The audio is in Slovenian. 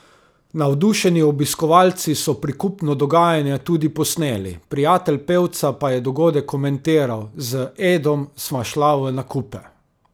Navdušeni obiskovalci so prikupno dogajanje tudi posneli, prijatelj pevca pa je dogodek komentiral: 'Z Edom sva šla v nakupe.